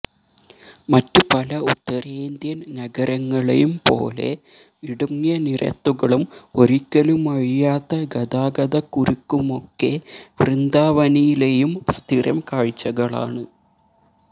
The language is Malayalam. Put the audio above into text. മറ്റു പല ഉത്തരേന്ത്യൻ നഗരങ്ങളെയും പോലെ ഇടുങ്ങിയ നിരത്തുകളും ഒരിക്കലുമഴിയാത്ത ഗതാഗതക്കുരുക്കുമൊക്കെ വൃന്ദാവനിലെയും സ്ഥിരം കാഴ്ചകളാണ്